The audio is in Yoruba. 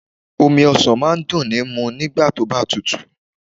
Omi ọsàn máa ń dùn ń mu nígbà tóbá tutù